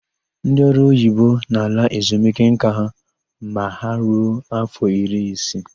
Ndị ọrụoyibo na-ala ezumike nka ma ha ruo áfọ iri isii.